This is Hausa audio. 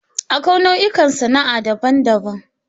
Akwai nau'ikan sana'a daban-daban.